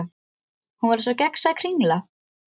Hún var eins og gegnsæ kringla.